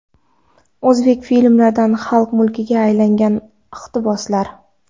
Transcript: O‘zbek filmlaridan xalq mulkiga aylangan iqtiboslar.